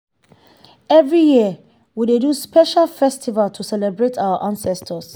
every year we dey do special festival to celebrate our ancestors